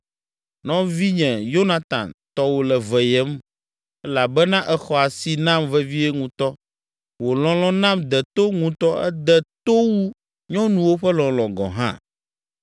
Nɔvinye Yonatan, tɔwò le veyem elabena èxɔ asi nam vevie ŋutɔ. Wò lɔlɔ̃ nam de to ŋutɔ ede to wu nyɔnuwo ƒe lɔlɔ̃ gɔ̃ hã.